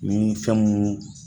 Ni fɛn mun